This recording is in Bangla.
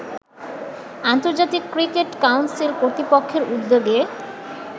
আন্তর্জাতিক ক্রিকেট কাউন্সিল কর্তৃপক্ষের উদ্যোগে